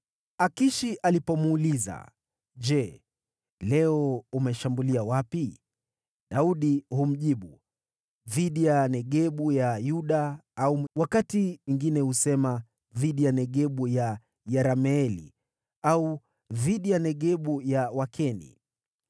Akishi alipomuuliza, “Je leo umeshambulia wapi?” Daudi humjibu, “Dhidi ya Negebu ya Yuda,” au wakati mwingine husema, “Dhidi ya Negebu ya Yerameeli,” au “Dhidi ya Negebu ya Wakeni.”